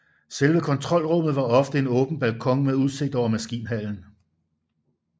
Selve kontrolrummet var ofte en åben balkon med udsigt over maskinhallen